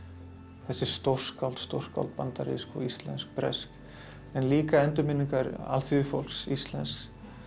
þessi stórskáld stórskáld bandarísk íslensk bresk en líka endurminningar alþýðufólks íslensks